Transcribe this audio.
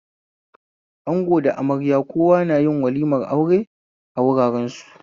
Ango da amarya kowa na yin walimar aure a wuraren su